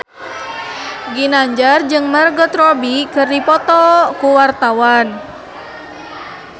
Ginanjar jeung Margot Robbie keur dipoto ku wartawan